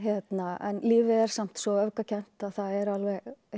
en lífið er samt svo öfgakennt að það eru alveg